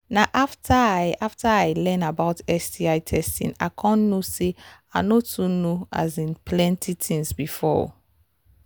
na after i after i learn about sti testing i come know say i no too know um plenty things before